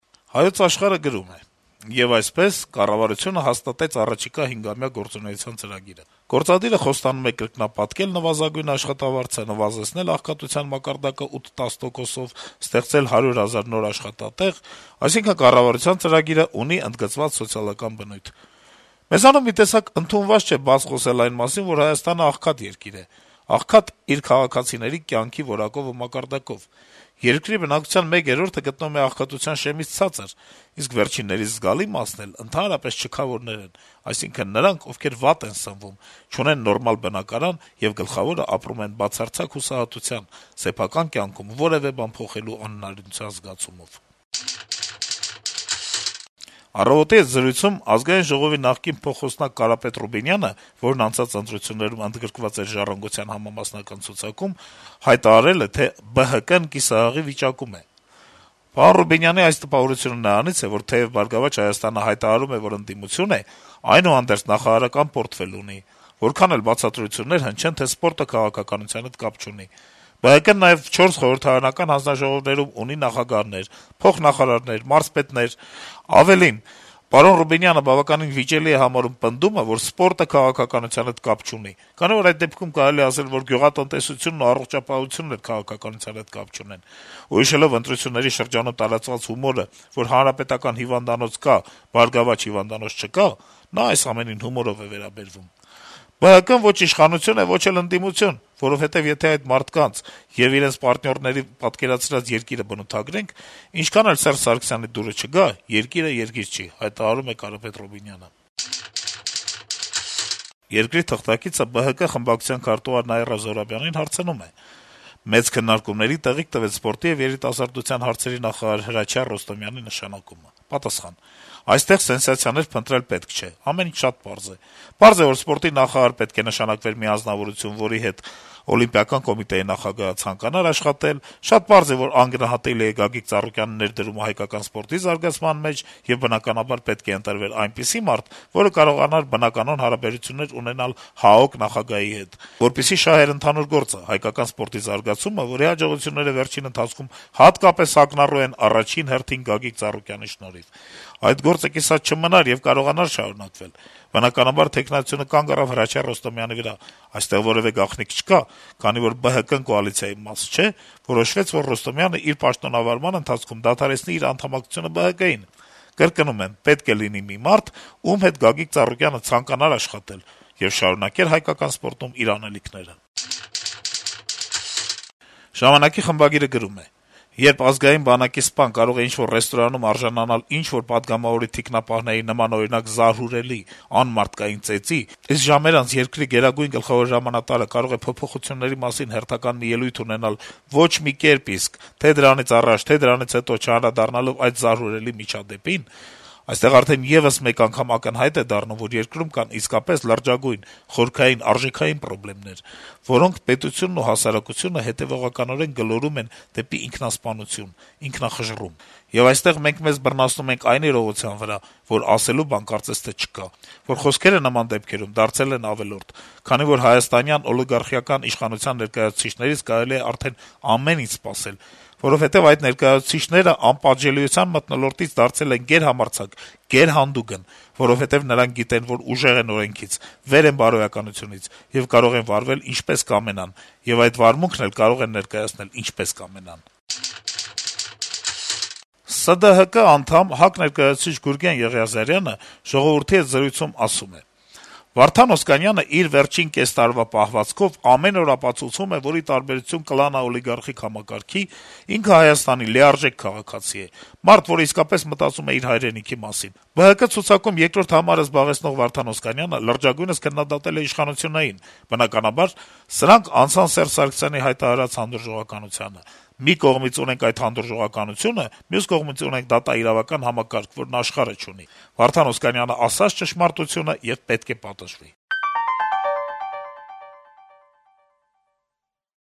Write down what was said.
«Հայոց Աշխարհ»-ը գրում է. - «Եվ այսպես, կառավարությունը հաստատեց առաջիկա հնգամյա գործունեության ծրագիրը։ Գործադիրը խոստանում է կրկնապատկել նվազագույն աշխատավարձը, նվազեցնել աղքատության մակարդակը 8-10 տոկոսով, ստեղծել 100 հազար նոր աշխատատեղ։ Այսինքն՝ կառավարության ծրագիրն ունի ընդգծված սոցիալական բնույթ։ Մեզանում մի տեսակ ընդունված չէ բաց խոսել այն մասին, որ Հայաստանը աղքատ երկիր է։ Աղքատ՝ իր քաղաքացիների կյանքի որակով ու մակարդակով։ Երկրի բնակչության մեկ երրորդը գտնվում է աղքատութան շեմից ցածր, իսկ վերջիններիս զգալի մասն էլ ընդհանրապես չքավորներ են, այսինքն՝ նրանք, ովքեր վատ են սնվում, չունեն նորմալ բնակարան եւ գլխավորը՝ ապրում են բացարձակ հուսահատության, սեփական կյանքում որեւէ բան փոխելու անհնարինության զգացումով»։ «Առավոտ»-ի հետ զրույցում Ազգային ժողովի նախկին փոխխոսնակ Կարապետ Ռուբինյանը, ով անցած ընտրություններում ընդգրկված էր «Ժառանգության» համամասնական ցուցակում, հայտարարել է, թե ԲՀԿ-ն «կիսահղի վիճակում է»: «Պարոն Ռուբինյանի այս տպավորությունը նրանից է, որ թեեւ «Բարգավաճ Հայաստան»-ը հայտարարում է, որ ընդդիմություն է, այնուհանդերձ, նախարարական պորտֆել ունի, որքան էլ բացատրություններ հնչեն, թե սպորտը քաղաքականության հետ կապ չունի, ԲՀԿ-ն նաեւ չորս խորհրդարանական հանձնաժողովներում ունի նախագահներ, փոխնախարարներ, մարզպետներ: Ավելին, մեր զրուցակիցը բավականին վիճելի է համարում պնդումը, որ սպորտը քաղաքականության հետ կապ չունի, քանի որ, այդ դեպքում կարելի է ասել նաեւ, որ գյուղատնտեսությունն ու առողջապահությունն էլ քաղաքականության հետ կապ չունեն ու հիշելով ընտրությունների շրջանում տարածված հումորը, որ «Հանրապետական» հիվանդանոց կա «Բարգավաճ» հիվանդանոց չկա, այս ամենին հումորով է վերաբերվում», - փոխանցում է թերթը` կրկին մեջբերելով Ռուբինյանին. - «ԲՀԿ-ն ո’չ իշխանություն է, ո’չ էլ ընդիմություն, որովհետեւ, եթե այդ մարդկանց եւ իրենց պարտնյորների պատկերացրած երկիրը բնութագրենք, ինչքան էլ Սերժի դուրը չգա` երկիրը երկիր չի»: «Երկիր» օրաթերթի թղթակիցը ԲՀԿ-ի խորհրդարանական խմբակցության քարտուղար Նաիրա Զոհրաբյանի հետ զրույցում նշում է. - «Մեծ քննարկումների տեղիք տվեց սպորտի եւ երիտասարդության հարցերի նախարար Հրաչյա Ռոստոմյանի նշանակումը»: Զոհրաբյանը արձագանքում է. - «Այստեղ սենսացիաներ փնտրել պետք չէ, ամեն ինչ շատ պարզ է: Պարզ է, որ սպորտի նախարար պետք է նշանակվեր մի անձնավորություն, որի հետ ՀԱՕԿ (Հայաստանի ազգային օլիմպիական կոմիտեի) նախագահը ցանկանար աշխատել: Շատ պարզ է, որ անգնահատելի է Գագիկ Ծառուկյանի ներդրումը հայկական սպորտի զարգացման մեջ եւ, բնականաբար, պետք է ընտրվեր այնպիսի մարդ, որը կարողանար բնականոն հարաբերություններ ունենալ ՀԱՕԿ նախագահի հետ, որպեսզի շատ ընդհանուր գործը` հայկական սպորտի զարգացումը, որի հաջողությունները վերջին շրջանում հատկապես ակնառու են շնորհիվ առաջին հերթին Գագիկ Ծառուկյանի, այդ գործը կիսատ չմնար եւ կարողանար շարունակվել: Բնականաբար, թեկնածությունը կանգ առավ Հրաչյա Ռոստոմյանի վրա: Այստեղ որեւէ գաղտնիք չկա, քանի որ ԲՀԿ-ն կոալիցիայի մաս չէ, որոշվեց, որ Ռոստոմյանն իր պաշտանավորման ընթացքում դադարեցնի իր անդամակցությունը ԲՀԿ-ին: Կրկնում եմ` պետք է լիներ մի մարդ, ում հետ Գագիկ Ծառուկյանը ցանկանար աշխատել եւ շարունակեր հայկական սպորտում իր անելիքները»: «Ժամանակ»-ի խմբագիրը գրում է. - «Երբ Ազգային բանակի սպան կարող է ինչ-որ ռեստորանում արժանանալ ինչ-որ պատգամավորի թիկնապահների նմանօրինակ զարհուրելի, անմարդկային ծեծին, իսկ ժամեր անց երկրի Գերագույն գլխավոր հրամանատարը կարող է փոփոխությունների մասին հերթական մի ելույթ ունենալ, ոչ մի կերպ իսկ` թե՛ դրանից առաջ, թե՛ դրանից հետո չանդրադառնալով այդ զարհուրելի միջադեպին, այստեղ արդեն եւս մեկ անգամ ակնհայտ է դառնում, որ երկրում կան իսկապես լրջագույն, խորքային, արժեքային պրոբլեմներ, որոնք պետությանն ու հասարակությանը հետեւողականորեն գլորում են դեպի ինքնասպանություն, ինքնախժռում։ Եվ այստեղ մենք մեզ բռնացնում ենք այն իրողության վրա, որ ասելու բան կարծես թե չկա, որ խոսքերը նման դեպքերում դարձել են ավելորդ, քանի որ հայաստանյան օլիգարխիական իշխանության ներկայացուցիչներից կարելի է արդեն ամեն ինչ սպասել, որովհետեւ այդ ներկայացուցիչներն անպատժելիության մթնոլորտից դարձել են գերհամարձակ, գերհանդուգն, որովհետեւ նրանք գիտեն, որ ուժեղ են օրենքից, վեր են բարոյականությունից եւ կարող են վարվել ինչպես կամենան, ու այդ վարմունքն էլ կարող են ներկայացնել ինչպես կամենան»: ՍԴՀԿ (Սոցիալ-դեմոկրատ հնչակյան կուսակցություն) անդամ, Հայ ազգային կոնգրեսի ներկայացուցիչ Գուրգեն Եղիազարյանը «Ժողովուրդ» թերթի հետ զրույցում ասում է. - «Վարդան Օսկանյանը իր վերջին կես տարվա պահվածքով ամեն օր ապացուցում է, որ, ի տարբերություն կլանաօլիգարխիկ համակարգի, ինքը Հայաստանի լիարժեք քաղաքացի է, մարդ, որը իսկապես մտածում է իր հայրենիքի մասին: ԲՀԿ ցուցակում երկրորդ հորիզոնականը զբաղեցնող Վարդան Օսկանյանը լրջագույնս քննադատել է իշխանություններին, բնականաբար, սրանք անցան Սերժ Սարգսյանի հայտարարած «հանդուրժողականությանը»: Մի կողմից ունենք այդ հանդուրժողականությունը, մյուս կողմից ունենք դատաիրավական համակարգ, որն աշխարհը չունի. Վարդան Օսկանյանը ասաց ճշմարտությունը եւ պետք է պատժվի»: